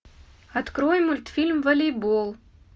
открой мультфильм волейбол